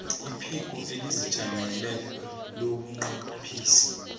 iphiko elizijameleko lobunqophisi